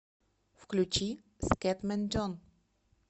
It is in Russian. включи скэтмэн джон